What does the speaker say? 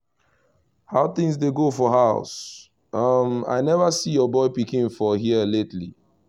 how things dey go for house? um i never see your boy pikin for here lately